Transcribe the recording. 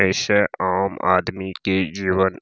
ए से आम आदमी के जीवन --